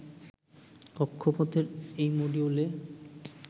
কক্ষপথের এই মডিউলে